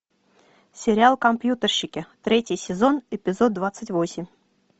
сериал компьютерщики третий сезон эпизод двадцать восемь